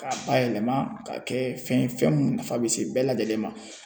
K'a bayɛlɛma ka kɛ fɛn ye fɛn mun nafa bɛ se bɛɛ lajɛlen ma